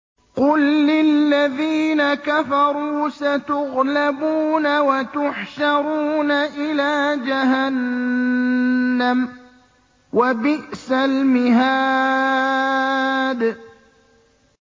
قُل لِّلَّذِينَ كَفَرُوا سَتُغْلَبُونَ وَتُحْشَرُونَ إِلَىٰ جَهَنَّمَ ۚ وَبِئْسَ الْمِهَادُ